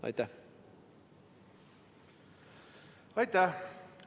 Aitäh!